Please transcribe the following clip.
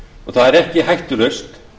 og það er ekki hættulaust